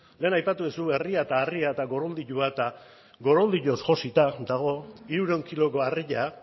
lehen aipatu duzu harria eta herria eta goroldioa eta goroldioz josita dago hirurehun kiloko harria